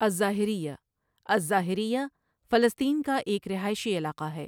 الظاہریہ الظاهریة فلسطین کا ایک رہائشی علاقہ ہے۔